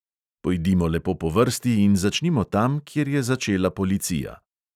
Pojdimo lepo po vrsti in začnimo tam, kjer je začela policija.